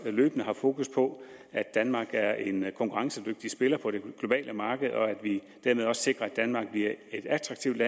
løbende har fokus på at danmark er en konkurrencedygtig spiller på det globale marked og at vi dermed også sikrer at danmark bliver et attraktivt